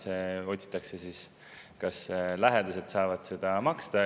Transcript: Sel juhul otsitakse, et lähedased saavad maksta.